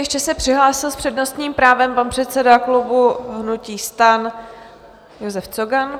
Ještě se přihlásil s přednostním právem pan předseda klubu hnutí STAN Josef Cogan.